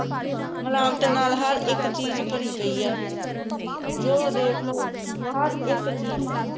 ਮਿਲਾਵਟਾਂ ਨਾਲ ਹਰ ਇਕ ਚੀਜ ਭਰੀ ਪਈ ਆ ਜੋ ਦੇਖ ਲੋ ਹਰ ਇਕ ਚੀਜ